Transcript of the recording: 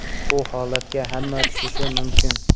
Bu holatga hamma tushishi mumkin.